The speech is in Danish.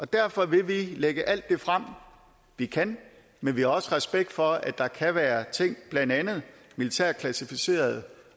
derfor vil vi lægge alt det frem vi kan men vi har også respekt for at der kan være ting blandt andet militært klassificerede